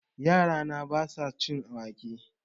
Yara na ba sa son cin wake